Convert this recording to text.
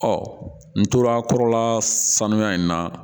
Ɔ n tora kɔrɔla sanuya in na